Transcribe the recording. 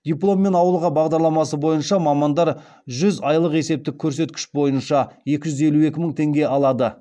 дипломмен ауылға бағдарламасы бойынша мамандар жүз айлық есептік көрсеткіш бойынша екі жүз елу екі мың теңге алады